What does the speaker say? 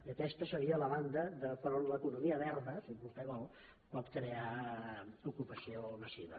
i aquesta seria la banda per on l’economia verda si vostè vol pot crear ocupació massiva